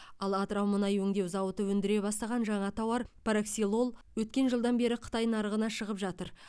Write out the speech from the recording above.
ал атырау мұнай өңдеу зауыты өндіре бастаған жаңа тауар параксилол өткен жылдан бері қытай нарығына шығып жатыр